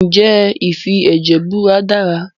Ǹjẹ́ ìfi ẹ̀jẹ̀ búra dára?